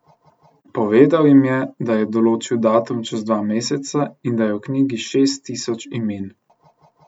Povedal jim je, da je določil datum čez dva meseca in da je v Knjigi šest tisoč imen.